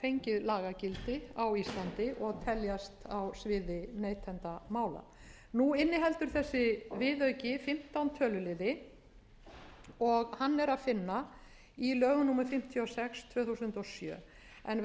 þegar hafa fengið lagagildi á íslandi og teljast á sviði neytendamála nú inniheldur þessi viðauki fimmtán töluliði og hann er að finna í lögum númer fimmtíu og sex tvö þúsund og sjö